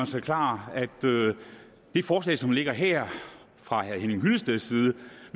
sig klart at det forslag som ligger her fra herre henning hyllesteds side